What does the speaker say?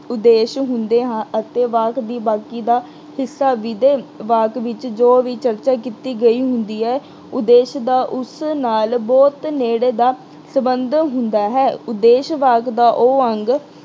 ਉੱਦੇਸ਼ ਹੁੰਦੇ ਹਾਂ ਅਹ ਅਤੇ ਵਾਕ ਦੀ ਬਾਕੀ ਦਾ ਹਿੱਸਾ ਵਾਕ ਵਿੱਚ ਜੋ ਵੀ ਚਰਚਾ ਕੀਤੀ ਗਈ ਹੁੰਦੀ ਹੈ, ਉੱਦੇਸ਼ ਦਾ ਉਸ ਨਾਲ ਬਹੁਤ ਨੇੜੇ ਦਾ ਸਬੰਧ ਹੁੰਦਾ ਹੈ। ਉੱਦੇਸ਼ ਵਾਕ ਦਾ ਉਹ ਅੰਗ